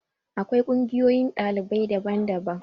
Akwai ƙungiyoyin ɗalibai daban daban.